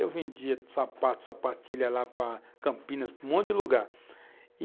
Eu vendia sapatos, sapatilhas lá para Campinas, para um monte de lugar e